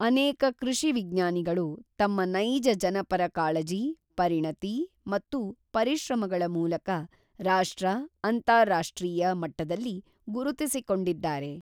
ಅನೇಕ ಕೃಷಿ ವಿಜ್ಞಾನಿಗಳು ತಮ್ಮ ನೈಜ ಜನಪರ ಕಾಳಜಿ, ಪರಿಣತಿ ಮತ್ತು ಪರಿಶ್ರಮಗಳ ಮೂಲಕ ರಾಷ್ಟ್ರ, ಅಂತಾರಾಷ್ಟ್ರೀಯ ಮಟ್ಟದಲ್ಲಿ ಗುರುತಿಸಿಕೊಂಡಿದ್ದಾರೆ.